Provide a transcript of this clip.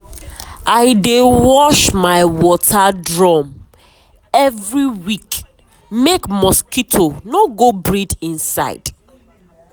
i dey wash my water drum every week make mosquito no go breed inside.